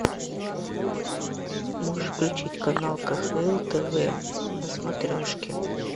можешь включить канал кхл тв на смотрешке